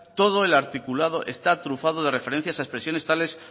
todo el articulado está trufado de referencias a expresiones tales